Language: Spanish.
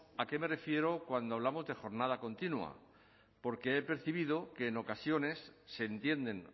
a qué me refiero cuando hablamos de jornada continua porque he percibido que en ocasiones se entienden